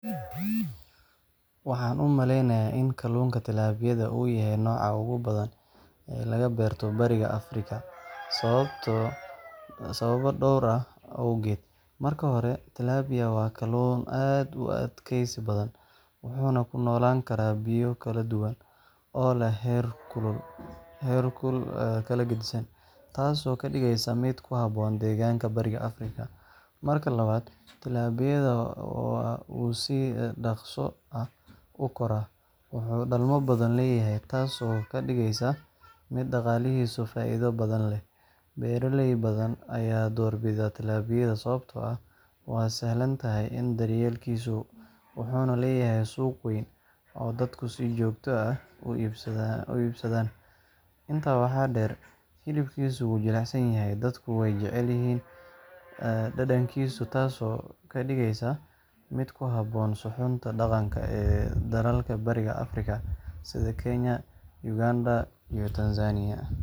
Waxaan u maleynayaa in kalluunka Tilapiyada uu yahay nooca ugu badan ee laga beerto Bariga Afrika sababo dhowr ah awgood. Marka hore, Tilapiyada waa kalluun aad u adkaysi badan, wuxuu ku noolaan karaa biyo kala duwan oo leh heerkul kala geddisan, taasoo ka dhigaysa mid ku habboon deegaanka Bariga Afrika. Marka labaad, Tilapiyada wuu si dhakhso ah u koraa, wuxuuna dhalmo badan leeyahay, taasoo ka dhigaysa mid dhaqaalihiisu faa’iido badan leeyahay. Beeraley badan ayaa doorbida Tilapiyada sababtoo ah waa sahlan tahay daryeelkiisa, wuxuuna leeyahay suuq weyn oo dadku si joogto ah u iibsadaan. Intaa waxaa dheer, hilibkiisu waa jilicsan yahay, dadkuna way jecel yihiin dhadhankiisa, taasoo ka dhigaysa mid ku habboon suxuunta dhaqanka ee dalalka Bariga Afrika sida Kenya, Uganda iyo Tanzania.